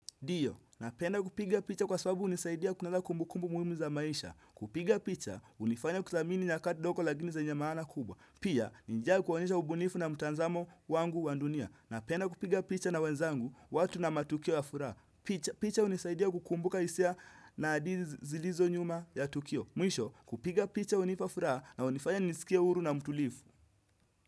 Ndiyo, napenda kupiga picha kwa sababu hunisaidia kunasa kumbukumbu muhimu za maisha. Kupiga picha, hunifanya kuthamini nyakati ndogo lakini zenye maana kubwa. Pia, ni njia ya kuonesha ubunifu na mtazamo wangu wa ndunia. Napenda kupiga picha na wenzangu, watu na matukio ya furaha. Picha hunisaidia kukumbuka hisia na adili zilizo nyuma ya tukio. Mwisho, kupiga picha hunipa furaha na hunifanya nijisikie huru na mtulivu.